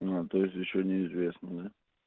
а то есть ещё неизвестно